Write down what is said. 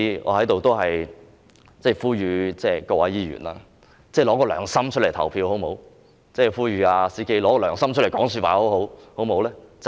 我在此呼籲各位議員，拿出良心來投票，亦呼籲 "CK"， 拿出良心來說話，好嗎？